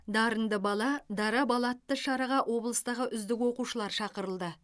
дарынды бала дара бала атты шараға облыстағы үздік оқушылар шақырылды